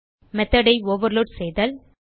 method ஐ overload செய்தல்